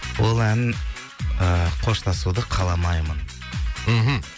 ол ән ыыы қоштасуды қаламаймын мхм